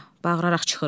Bağıraq çıxır.